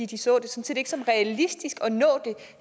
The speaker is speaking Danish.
de sådan set ikke så realistisk